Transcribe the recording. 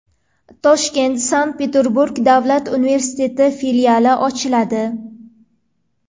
Toshkentda Sankt-Peterburg davlat universiteti filiali ochiladi.